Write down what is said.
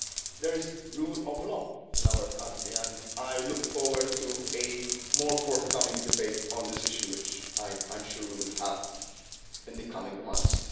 respect. There is rule of law in our country, and I look forward to further debate on this issue, which I am sure we will have in the coming